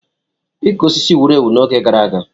Ịka osisi wuru ewu n'oge gara aga.